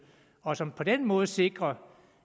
og som på den måde sikrer